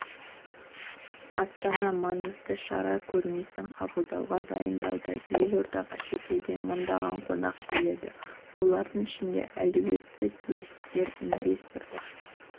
астана маңызды шара көрмесін қабылдауға дайындалуда елордаға шетелден мыңдаған қонақ келеді олардың ішінде әлеуетті туристер инвесторлар